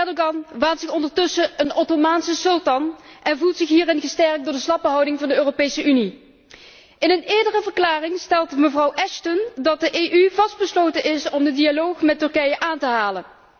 Erdogan waant zich ondertussen een Ottomaanse sultan en voelt zich hierin gesterkt door de slappe houding van de Europese Unie. In een eerdere verklaring stelt mevrouw Ashton dat de EU vastbesloten is om de dialoog met Turkije aan te halen.